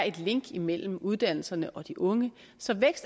et link imellem uddannelserne og de unge så vækst